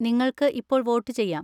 നിങ്ങൾക്ക് ഇപ്പോൾ വോട്ടുചെയ്യാം.